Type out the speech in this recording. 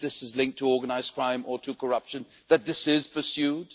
that if this is linked to organised crime or to corruption, that this is pursued.